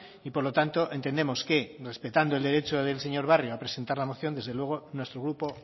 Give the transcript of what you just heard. y por lo tanto entendemos que respetando el derecho del señor barrio a presentar la moción desde luego nuestro grupo